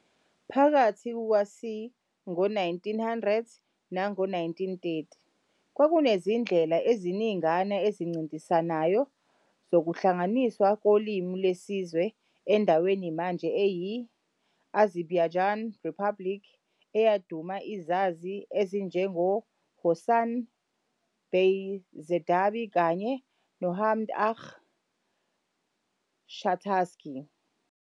Phakathi kuka c. Ngo-1900 nango-1930, kwakunezindlela eziningana ezincintisanayo zokuhlanganiswa kolimi lwesizwe endaweni manje eyi-Azerbaijan Republic, eyaduma izazi ezinjengoHasan bey Zardabi kanye noMmmad agha Shahtakhtinski.